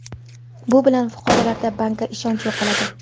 Bu bilan fuqarolarda bankka ishonch yo‘qoladi.